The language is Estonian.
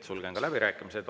Sulgen läbirääkimised.